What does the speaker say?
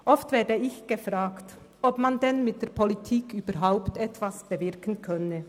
Oft werde ich gefragt, ob man denn in der Politik überhaupt etwas bewirken könne.